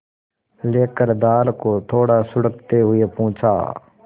लेकर दाल को थोड़ा सुड़कते हुए पूछा